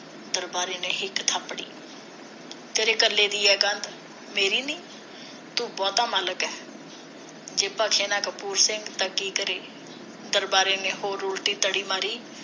ਦਰਬਾਰੇ ਨੇ ਹਿੱਕ ਥਾਪੜੀ ਤੇਰੇ ਕੱਲੇ ਦੀ ਆ ਕੰਧ ਮੇਰੀ ਨੀ ਤੂੰ ਬਹੁਤਾ ਮਾਲਕ ਐ ਜੇ ਬਖਸ਼ੇ ਨਾ ਕਪੂਰ ਸਿੰਘ ਤਾਂ ਕੀ ਕਰੇ ਦਰਬਾਰੇ ਨੇ ਹੋਰ ਉਲਟੀ ਤੜੀ ਮਾਰੀ